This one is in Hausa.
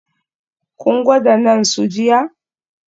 Kun gwada naan su jiya?